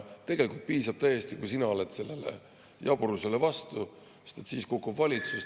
Tegelikult piisab täiesti, kui sina oled sellele jaburusele vastu, sest siis kukub valitsus.